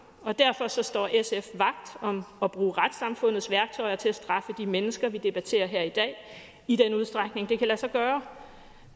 derfor står står sf vagt om at bruge retssamfundets værktøjer til at straffe de mennesker vi debatterer her i dag i den udstrækning det kan lade sig gøre